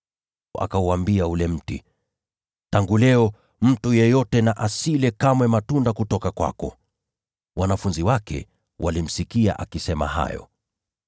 Akauambia ule mti, “Tangu leo mtu yeyote asile kamwe matunda kutoka kwako.” Wanafunzi wake walimsikia akisema hayo.